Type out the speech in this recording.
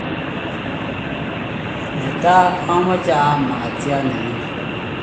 netai amache aam mkatiat nre mining'